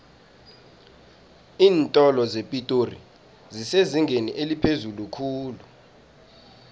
iintolo zepitori zisezingeni eliphezulu khulu